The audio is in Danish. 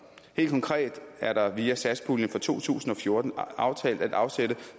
helt konkret er der via satspuljen for to tusind og fjorten aftalt at afsætte